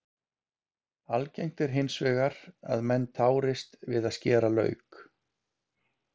algengt er hins vegar að menn tárist við að skera lauk